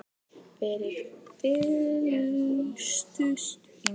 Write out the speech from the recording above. Þeir fylltust í nótt.